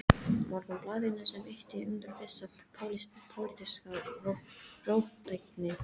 Morgunblaðinu, sem ýtti undir vissa pólitíska róttækni.